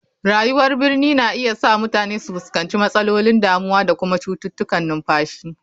Rayuwar birni na iya sa mutane su fuskanci matsalolin damuwa da kuma cututtukan numfashi.